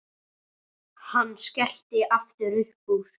Hann skellti aftur upp úr.